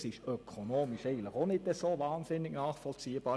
Das ist ökonomisch eigentlich auch nicht wahnsinnig nachvollziehbar.